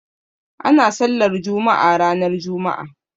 Ana sallar juma'a ranar juma'a